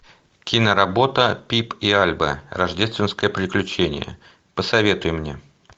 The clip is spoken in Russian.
киноработа пип и альба рождественское приключение посоветуй мне